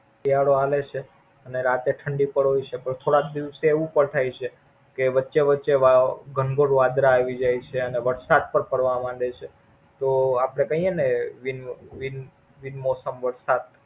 શિયાળો હાલે છે, અને રાતે ઠંડી પડે છે. પણ થોડાક દિવસ એવું પણ થઈ છે કે વચ્ચે વચ્ચે ઘનઘોર વાદળા આવી જાય છે. અને વરસાદ પણ પડવા મંડે છે. તો આપડે કયે ને બિન બિન બિનમોસમ વરસાદ.